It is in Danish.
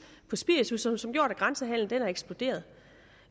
og spiritus og som har gjort at grænsehandelen er eksploderet